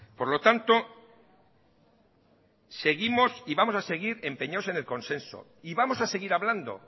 por lo tanto seguimos y vamos a seguir empeñados en el consenso y vamos a seguir hablando